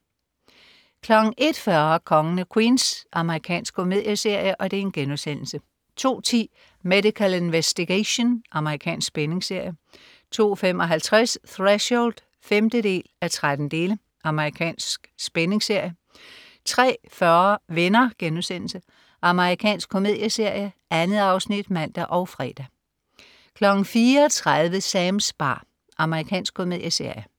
01.40 Kongen af Queens. Amerikansk komedieserie* 02.10 Medical Investigation. Amerikansk spændingsserie 02.55 Threshold 5:13. Amerikansk spændingsserie 03.40 Venner.* Amerikansk komedieserie. 2 afsnit (man og fre) 04.30 Sams bar. Amerikansk komedieserie